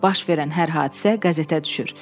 Baş verən hər hadisə qəzetə düşür.